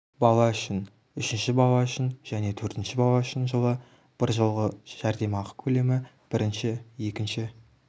бала үшін үшінші бала үшін және төртінші бала үшін жылы біржолғы жәрдемақы көлемі бірінші екінші